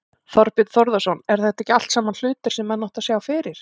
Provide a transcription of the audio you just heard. Þorbjörn Þórðarson: Eru þetta ekki allt saman hlutir sem menn áttu að sjá fyrir?